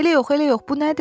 Elə yox, elə yox, bu nədir?